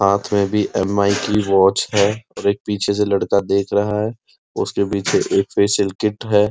हाथ में भी एम आइ की वॉच है और एक पीछे से लड़का देख रहा है उसके पीछे फैशियल किट है।